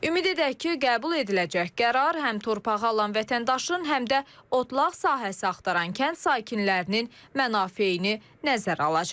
Ümid edək ki, qəbul ediləcək qərar həm torpağı alan vətəndaşın, həm də otlaq sahəsi axtaran kənd sakinlərinin mənafeyini nəzərə alacaq.